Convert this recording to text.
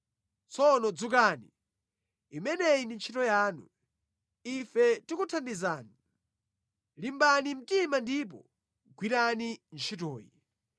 Tsono dzukani, imeneyi ndi ntchito yanu. Ife tikuthandizani. Limbani mtima ndipo gwirani ntchitoyi.”